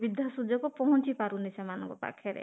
ସୁବିଧା ସୁଯୋଗ ପହଞ୍ଚି ପାରୁନି ସେମାନଙ୍କ ପାଖରେ